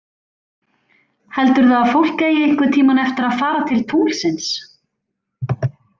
Heldurðu að fólk eigi einhvern tímann eftir að fara til tunglsins?